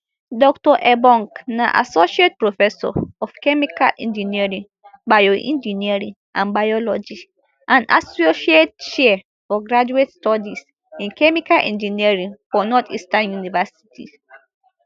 dr ebong na associate professor of chemical engineering bioengineering and biology and associate chair for graduate studies in chemical engineering for northeastern university